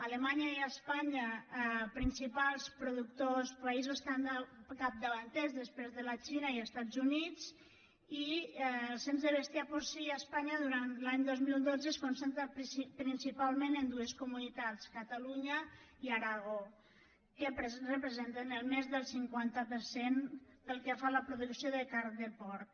alemanya i espanya principals productors països capdavanters després de la xina i els estats units i el cens de bestiar porcí a espanya durant l’any dos mil dotze es concentra principalment en dues comunitats catalunya i aragó que representen més del cinquanta per cent pel que fa a la producció de carn de porc